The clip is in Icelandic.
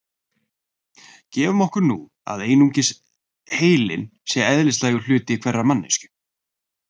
Gefum okkur nú að einungis heilinn sé eðlislægur hluti hverrar manneskju.